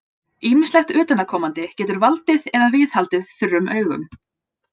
Ýmislegt utanaðkomandi getur valdið eða viðhaldið þurrum augum.